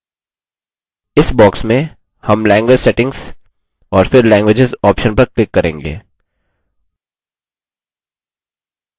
इस box में हम language settings और फिर languages option पर click करेंगे